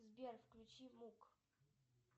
сбер включи мук